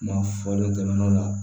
Kuma fɔli daminɛnw la